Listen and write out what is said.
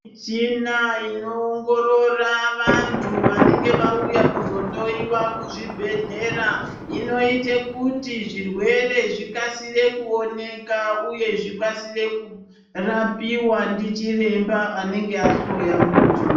China inoongkrora vantu vanenga vauya kuzohloiwa kuchibhedhlera inoite kuti zvirwere zvikasire kuoneka uye zvikasire kurapiwa ndichiremba anenge ahloya muntu.